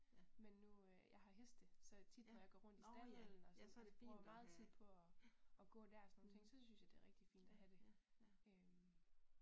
Men nu øh jeg har heste så tit når jeg går rundt i stalden og så jeg bruger jo meget tid på og og så der og sådan nogle ting så synes jeg det er rigtig fint og have det øh